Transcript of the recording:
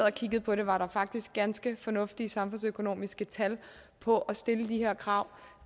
og kiggede på det var der faktisk ganske fornuftige samfundsøkonomiske tal på at stille de her krav